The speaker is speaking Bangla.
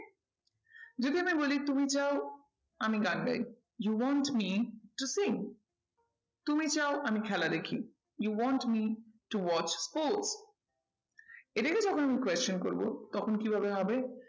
যদি আমি বলি তুমি চাও আমি গান গাই you want me to sing তুমি চাও আমি খেলা দেখি you want me to watch who? এটাকে যখন question করবো তখন কি ভাবে হবে?